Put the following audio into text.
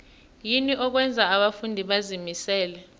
yini okwenza abafundi bazimisele